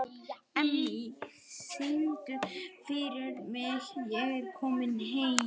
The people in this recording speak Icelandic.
Emmý, syngdu fyrir mig „Ég er kominn heim“.